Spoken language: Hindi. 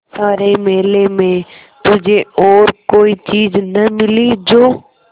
सारे मेले में तुझे और कोई चीज़ न मिली जो